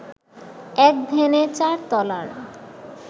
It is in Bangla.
এক ধ্যানে চার তলার